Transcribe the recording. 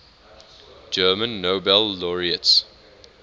german nobel laureates